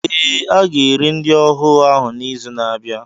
Ee, a ga-ere ndị ohu ahụ n'izu na-abịa.